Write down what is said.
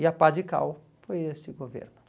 E a pá de cal foi esse governo.